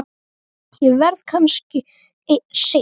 Ég verð kannski seinn.